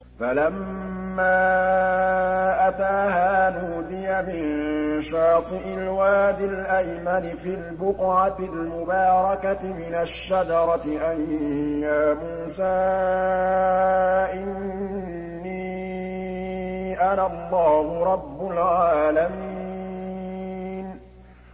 فَلَمَّا أَتَاهَا نُودِيَ مِن شَاطِئِ الْوَادِ الْأَيْمَنِ فِي الْبُقْعَةِ الْمُبَارَكَةِ مِنَ الشَّجَرَةِ أَن يَا مُوسَىٰ إِنِّي أَنَا اللَّهُ رَبُّ الْعَالَمِينَ